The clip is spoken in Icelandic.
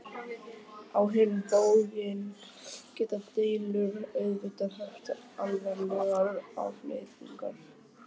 Á hinn bóginn geta deilur auðvitað haft alvarlegar afleiðingar.